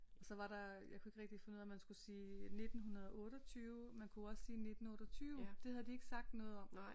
Og så var der jeg kunne ikke rigtig finde ud af om man skulle sige 1928 man kunne også sige 19 28 det havde de ikke sagt noget om